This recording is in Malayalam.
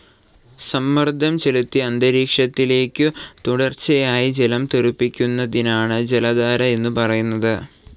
സമ്മർദം ചെലുത്തി അന്തരീക്ഷത്തിലേക്കു തുടർച്ചയായി ജലം തെറിപ്പിക്കുന്നതിനാണ് ജലധാര എന്നു പറയുന്നത്.